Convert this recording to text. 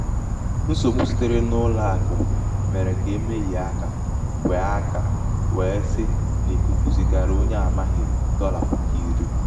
nsògbu sitere n’ụlọ̄àkụ̀ mèrè kà um e mehìe akā um wèe akā um wèe si um n’ìkùkù zìgara onye a māghị̣̀ dọlà puku iri.